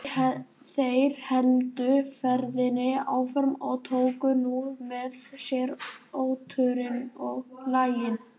Þeir héldu ferðinni áfram og tóku nú með sér oturinn og laxinn.